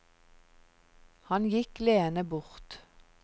Han gikk leende bort.